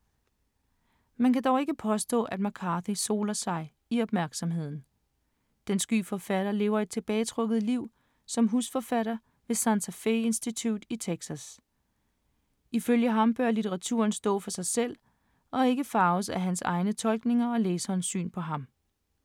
Man kan dog ikke påstå, at McCarthy soler sig i opmærksomheden. Den sky forfatter lever et tilbagetrukket liv som husforfatter ved Santa Fe Institute i Texas. Ifølge ham bør litteraturen stå for sig selv og ikke farves af hans egne tolkninger og læsernes syn på ham.